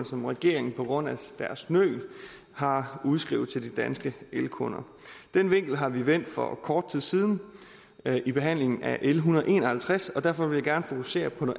som regeringen på grund af deres nøl har udskrevet til de danske elkunder den vinkel har vi vendt for kort tid siden i behandlingen af l en hundrede og en og halvtreds og derfor vil jeg gerne fokusere på